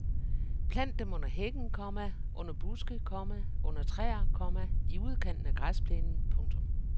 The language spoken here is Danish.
Plant dem under hækken, komma under buske, komma under træer, komma i udkanten af græsplænen. punktum